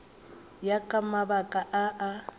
ya ka mabaka a a